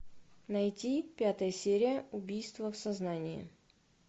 найти пятая серия убийство в сознании